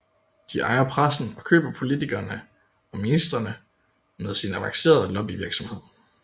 De ejer pressen og køber politikerne og ministrene med sin avancerede lobbyvirksomhed